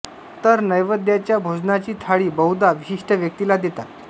तर नैवेद्याच्या भोजनाची थाळी बहुधा विशिष्ट व्यक्तींला देतात